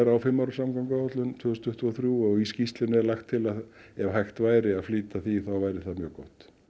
á fimm ára samgönguáætlun til tvö þúsund tuttugu og þrjú og í skýrslunni er lagt til að ef hægt væri að flýta því þá væri það mjög gott